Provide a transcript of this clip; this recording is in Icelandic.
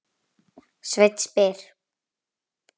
Sveinn spyr: